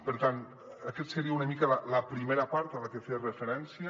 per tant aquesta seria una mica la primera part a la que feia referència